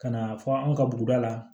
Ka na fɔ an ka buguda la